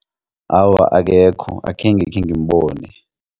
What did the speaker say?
Awa, akekho akhenge khengimbone.